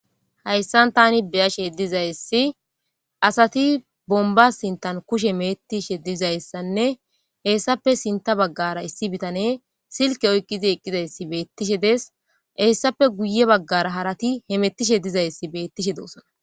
hayssan tani beyashe dizayssi asati bomba sintan kushe me'etishe dizayssanne hessape sinta baggara issi bitane silke oykqidi eqqidayssi beettishe des hessappe guye baggara harati hemettishe dizayssi bettishe doosona